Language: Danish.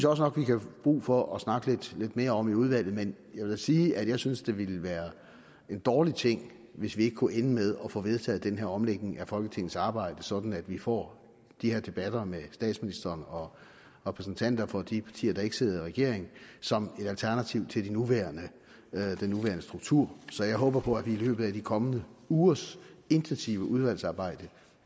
også nok vi kan få brug for at snakke lidt mere om i udvalget men jeg vil da sige at jeg synes det ville være en dårlig ting hvis vi ikke kunne ende med at få vedtaget den her omlægning af folketingets arbejde sådan at vi får de her debatter med statsministeren og repræsentanter for de partier der ikke sidder i regering som et alternativ til den nuværende struktur så jeg håber på at vi i løbet af de kommende ugers intensive udvalgsarbejde